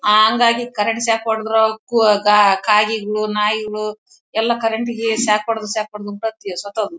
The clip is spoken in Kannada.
ಹಾಂಗಾಗಿ ಕರೆಂಟ್ ಶಾಕ್ ಹೊಡೆದ್ರು ಕು ಆ ಕಾಗೆಗಳು ನಾಯಿಗಳು ಎಲ್ಲ ಕರೆಂಟ್ ಗೆ ಶಾಕ್ ಹೊಡ್ದು ಶಾಕ್ ಹೊಡ್ದು ಸತ್ತು ಹೋಗಿದ್ವು.